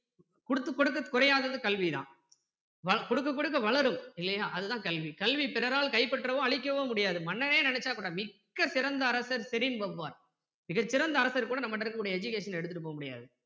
கொடுத்து கொடுத்து குறையாதது கல்வி தான் கொடுக்க கொடுக்க வளரும் இல்லையா அது தான் கல்வி கல்வி பிறரால் கைப்பற்றவோ அழிக்கவோ முடியாது மன்னனே நினைச்சா கூட மிக்க சிறந்த அரசன் ஷெரின் வல்வார் மிக சிறந்த அரசர் கூட நம்ம கிட்ட இருக்க கூடிய education ன எடுத்துடு போக முடியாது